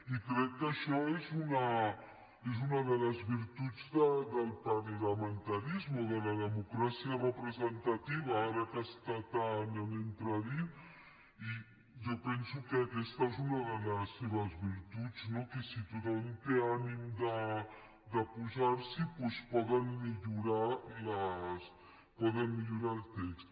i crec que això és una de les virtuts del parlamentarisme o de la democràcia representativa ara que està tant en entredit i jo penso que aquesta és una de les seves virtuts no que si tothom té ànim de posar s’hi doncs poden millorar el text